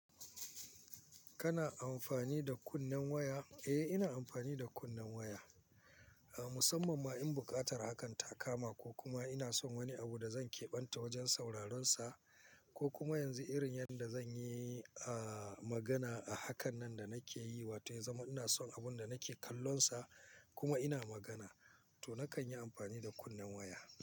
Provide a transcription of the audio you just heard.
Kana amfani da kunnen waya? Eh, ina amfani da kunnen waya. A musamman ma in buƙatar hakan takama ko kuma ina son wani abu da zan kebanta wajen sauraron sa ko kuma yanzu irin yadda zan yi, ah, magana a hakan nan da nake yi wato ya zama ina son abun da nake kallon sa kuma ina magana, to nakan yi amfani da kunnen waya.